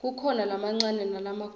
kukhona lamancane nalamakhulu